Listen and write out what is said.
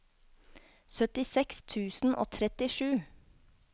syttiseks tusen og trettisju